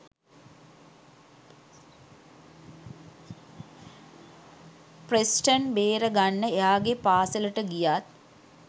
Preston බේරගන්න එයාගේ පාසැලට ගියත්.